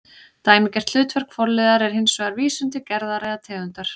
Dæmigert hlutverk forliðar er hins vegar vísun til gerðar eða tegundar